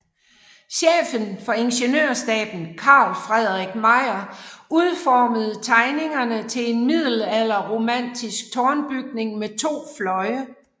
Chefen for Ingeniørstaben Carl Fredrik Meijer udformede tegningerne til en middelalderromantisk tårnbyggning med to fløje